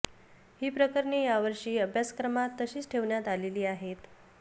ही प्रकरणे यावर्षी अभ्यासक्रमात तशीच ठेवण्यात आलेली आहेत